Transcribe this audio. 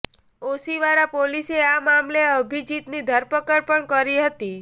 ઓશીવારા પોલીસે આ મામલે અભિજીતની ધરપકડ પણ કરી હતી